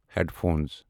head phones